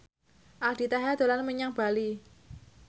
Aldi Taher dolan menyang Bali